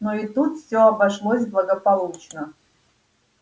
но и тут всё обошлось благополучно